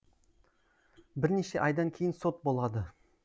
бірнеше айдан кейін сот болады